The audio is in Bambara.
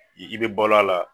I bi balo a la